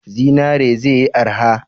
Zinare ze yi arha?